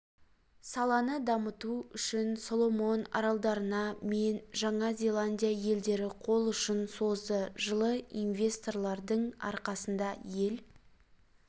саланы дамыту үшін соломон аралдарына мен жаңа зеландия елдері қол ұшын созды жылы инвесторлардың арқасында ел